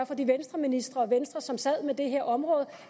for de venstreministre og for venstre som sad med det her område